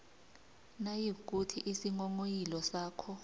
nayikuthi isinghonghoyilo sakho